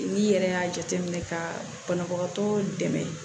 N'i yɛrɛ y'a jateminɛ ka banabagatɔ dɛmɛ